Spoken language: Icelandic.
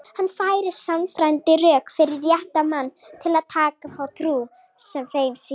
Hann færir sannfærandi rök fyrir rétti manna til að taka þá trú sem þeim sýnist.